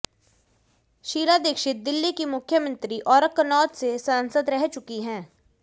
शीला दीक्षित दिल्ली की मुख्यमंत्री औरकन्नौद से सांसद रह चुकी हैं